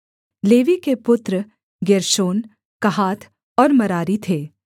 levy के पुत्र Gershon Kohath और मरारी थे